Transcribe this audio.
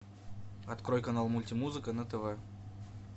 открой канал мульти музыка на тв